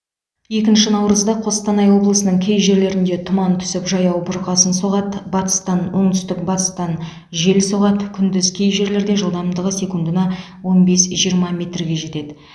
екінші наурызда қостанай облысының кей жерлерінде тұман түсіп жаяу бұрқасын соғады батыстан оңтүстік батыстан жел соғады күндіз кей жерлерде жылдамдығы секундына он бес жиырма метрге жетеді